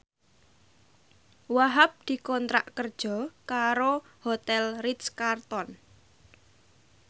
Wahhab dikontrak kerja karo Hotel Ritz Carlton